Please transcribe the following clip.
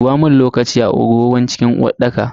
Dubamun lokaci a agogon cikin uwarɗaka.